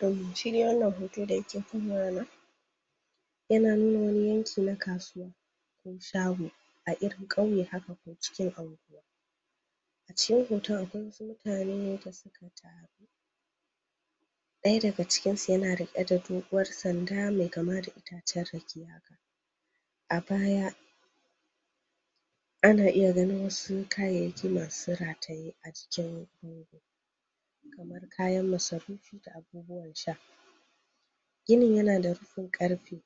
To shi de wannnan hoto da yake kan wayana yana nuna wani yanki na kasuwa shago a irin ƙauye haka cikin anguwa a cikin hoton akwai wasu mutane da suka taru ɗaya daga cikinsu yana riƙe da doguwar sanda mai kama da itacen rake haka a baya ana iya ganin wasu kayayyaki masu rataye a jikin? kayan masarufi da abubuwan sha ginin yana da rufin ƙarfe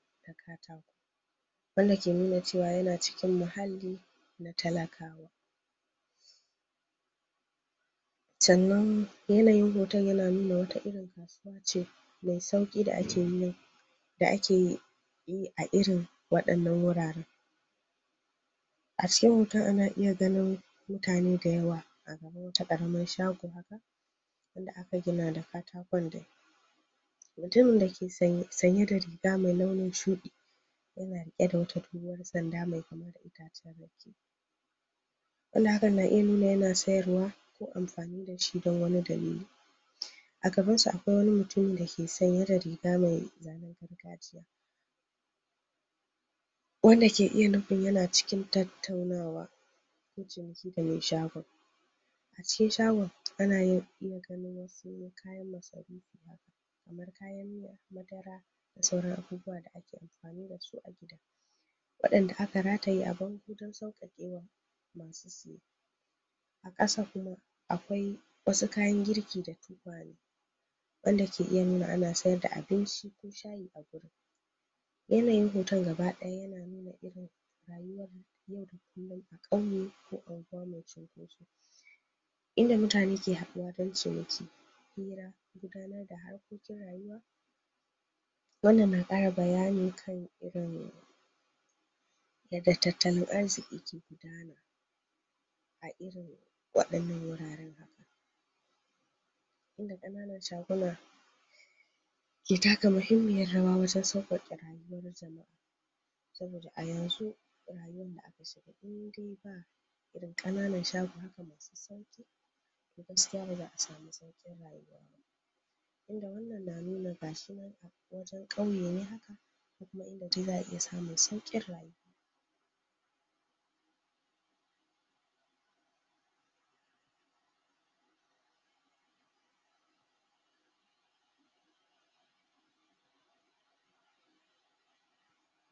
wanda ke nuna cewa yana cikin mahalli na talakawa sannan yanayin hoton yana nuna wata irin kasuwa ce mai sauƙi da ake neman da ake bi a irin waɗannan wuraren a cikin hoton ana iya ganin mutane dayawa ta ƙaramin shago da aka gina da katakon da mutumin dake sanye da riga mai launin shuɗi yana riƙe da wata dogowar sanda mai kama da itacen rake wanda hakan na iya nuna yana sayarwa ko amfani da shi don wani dalili a gabansa akwai mutumi dake sanye da riga mai zanen gargajiya wanda ke iya nufin yana cikin tattaunawa da me shagon a cikin shagon ana iya ganin wasu kayan masarufi haka kamar kayan miya madara da sauran abubuwa da ake amafani da su a gida waɗanda aka rataye a bango don sauƙaƙewa masu siye ƙasa kuma akwai wasu kayan girki da tukwane wanda ke iya nuna ana sayar da abinci ko sha a wurin yanayin hoton gaba-ɗaya yana nuna irin rayuwa yau da kullum a ƙauye ko a unguwa mai cunkoso inda mutane ke haɗuwa dan ciniki hira gudanar da harkokin rayuwa wannan na ƙara bayani kan irin yadda tatalin arziƙi ke gudana a irin waɗannan wuraren haka inda ƙananan shaguna ke taka muhimmiyar rawa wajen sauƙaƙe rayuwar jama'a saboda a yanzu rayuwan da aka shiga inde ba irin ƙananan shago haka masu sauƙi gaskiya ba za a samu sauƙin rayuwa ba inda wannan na nuna ga shi nan wajen ƙauye ne haka kuma inda de za a iya samun sauƙin rayuwa